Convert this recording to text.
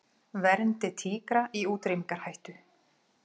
Verndi tígra í útrýmingarhættu